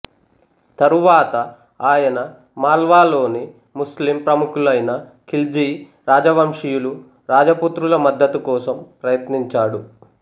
తరువాత ఆయన మాల్వాలోని ముస్లిం ప్రముఖులైన ఖిల్జీ రాజవంశీయులు రాజపుత్రుల మద్దతు కోసం ప్రయత్నించాడు